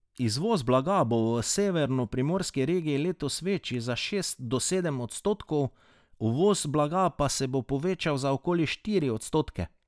Izvoz blaga bo v severnoprimorski regiji letos večji za šest do sedem odstotkov, uvoz blaga pa se bo povečal za okoli štiri odstotke.